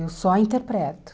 Eu só interpreto.